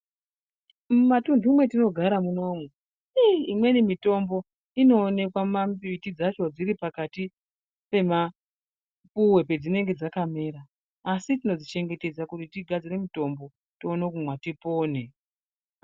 Mumatuntu mwetinogara munomu, iii imweni mitombo inoonekwa mambiti dzacho dziri pakati pemapuwe pedzinenge dzakamera, asi tinodzichengetedza tigadzore mitombo, tione kumwa, tipone.